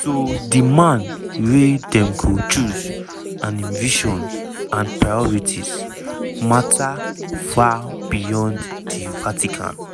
so di man wey dem go choose– and im vision and priorities – mata far beyond di vatican.